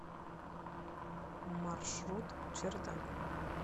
маршрут чердак